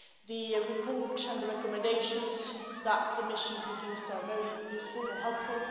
The report and the recommendations that the mission produced are very useful and helpful.